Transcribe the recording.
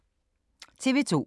TV 2